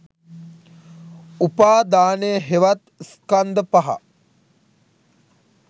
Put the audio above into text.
උපාදානය හෙවත් ස්කන්ධ පහ